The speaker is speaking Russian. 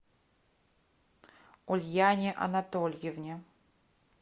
ульяне анатольевне